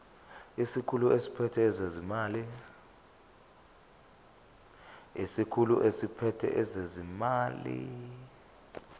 isikhulu esiphethe ezezimali